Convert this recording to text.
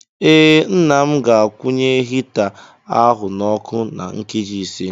Ee, Nna m ga-akwunye hita ahụ n'ọkụ na nkeji ise.